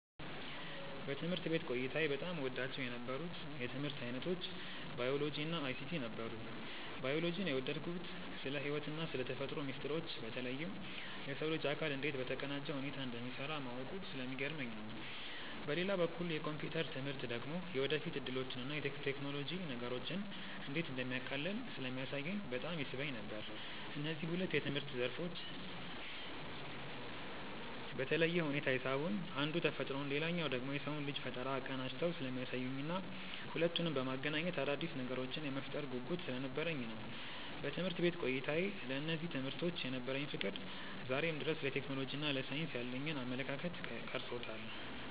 በትምህርት ቤት ቆይታዬ በጣም እወዳቸው የነበሩት የትምህርት ዓይነቶች ባዮሎጂ እና አይሲቲ ነበሩ። ባዮሎጂን የወደድኩት ስለ ሕይወትና ስለ ተፈጥሮ ሚስጥሮች በተለይም የሰው ልጅ አካል እንዴት በተቀናጀ ሁኔታ እንደሚሠራ ማወቁ ስለሚገርመኝ ነው። በሌላ በኩል የኮምፒውተር ትምህርት ደግሞ የወደፊት ዕድሎችንና ቴክኖሎጂ ነገሮችን እንዴት እንደሚያቃልል ስለሚያሳየኝ በጣም ይስበኝ ነበር። እነዚህ ሁለት የትምህርት ዘርፎች በተለየ ሁኔታ የሳቡኝ አንዱ ተፈጥሮን ሌላኛው ደግሞ የሰውን ልጅ ፈጠራ አቀናጅተው ስለሚያሳዩኝና ሁለቱንም በማገናኘት አዳዲስ ነገሮችን የመፍጠር ጉጉት ስለነበረኝ ነው። በትምህርት ቤት ቆይታዬ ለእነዚህ ትምህርቶች የነበረኝ ፍቅር ዛሬም ድረስ ለቴክኖሎጂና ለሳይንስ ያለኝን አመለካከት ቀርጾታል።